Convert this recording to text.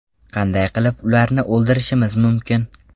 Qanday qilib ularni o‘ldirishimiz mumkin?